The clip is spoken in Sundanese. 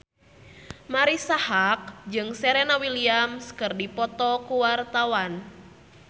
Marisa Haque jeung Serena Williams keur dipoto ku wartawan